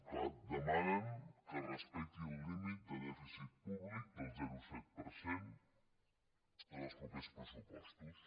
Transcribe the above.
clar demanen que es respecti el límit de dèficit públic del zero coma set per cent en els propers pressupostos